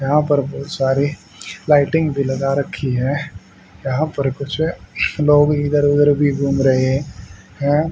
यहां पर बहुत सारी लाइटिंग भी लगा रखी हैं यहां पर कुछ लोग भी इधर उधर भी घूम रहे हैं।